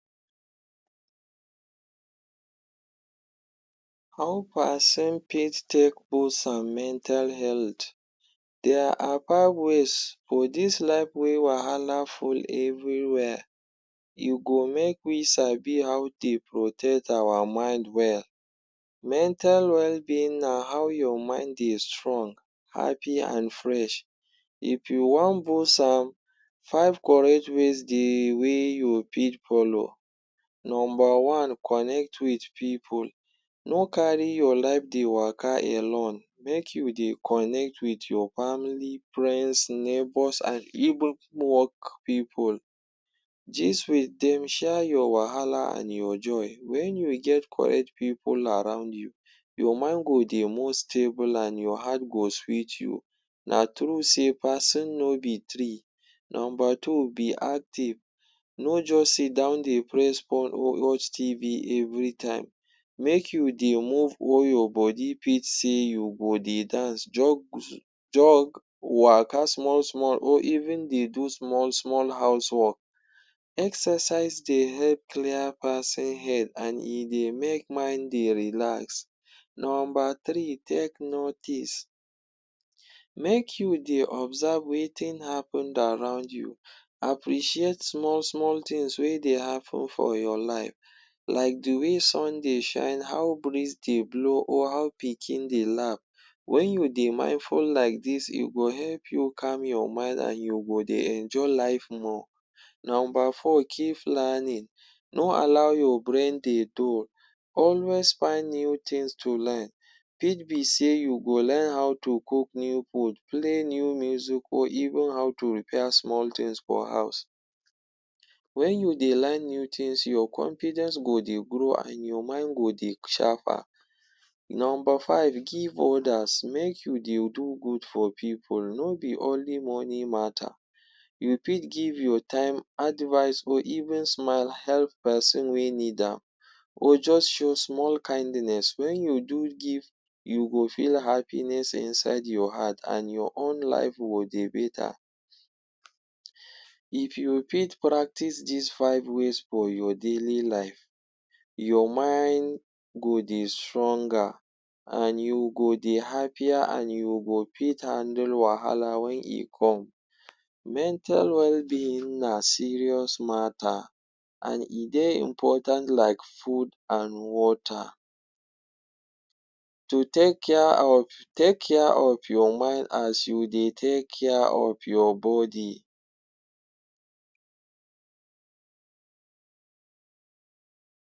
How pason fit take boost am mental health. There are five ways for dis life wey wahala full everywhere, e go make we sabi how dey protect awa mind well. Mental wellbeing na how your mind dey strong, happy an fresh. If you wan boost am, five correct ways dey wey you fit follow. Nomba one: Connect with pipu. No carry your life dey waka alone. Make you dey connect with your family, friends, neighbours an even work pipu. Dis way, dem share your wahala an your joy. Wen you get correct pipu around you, your mind go dey move stable, an your heart go sweet you. Na true sey pason no be tree. Nomba two: Be active. No juz sit down dey press phone or watch TV every time. Make you dey move all your body. Fit sey you go dey dance, jog, jog, waka small-small or even dey do small-small house work. Exercise dey help clear pason head an e dey make mind dey relax. Nomba three: Take notice. Make you dey observe wetin happened around you. Appreciate small-small tins wey dey happen for your life, like the way sun dey shine, how breeze dey blow, or how pikin dey laugh. Wen you dey mindful like dis, e go help you calm your mind an you go dey enjoy life more. Nomba four: Keep learning. No allow your brain dey dull, always find new tins to learn. Fit be sey you go learn how to cook new food, play new music or even how to repair small tins for house. Wen you dey learn new tins, your confidence go dey grow an your mind go dey sharper. Nomba five: Give others. Make you dey do good for pipu. No be only money matter, you fit give your time, advice, or even smile help peson wey need am or juz show small kindness. Wen you do give, you go feel happiness inside your heart an your own life go dey beta. If you fit practise dis five ways for your daily life, your mind go dey stronger an you go dey happier an you go fit handle wahala wen e come. Mental wellbeing na serious matter an e dey important like food an water. To take care of take care of your mind as you dey take care of your body.